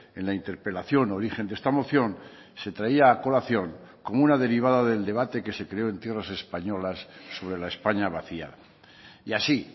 en la interpelación origen de esta moción se traía a colación como una derivada del debate que se creó en tierras españolas sobre la españa vacía y así